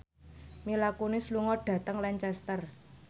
Mila Kunis lunga dhateng Lancaster